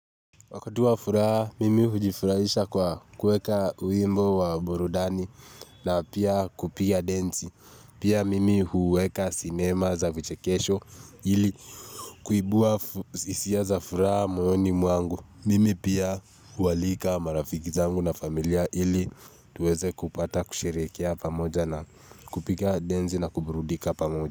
Wakatu wa furaha, mimi hujifurahisha kwa kuweka wimbo wa burudani na pia kupiga denzi. Pia mimi huweka sinema za vichekesho ili kuibua hisia za furaha moyoni mwangu. Mimi pia hualika marafiki zangu na familia ili tuweze kupata kusherehekea pamoja na kupiga denzi na kuburudika pamoja.